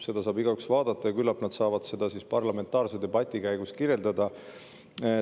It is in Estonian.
Seda saab igaüks vaadata ja küllap nad saavad seda siis parlamentaarse debati käigus kirjeldada.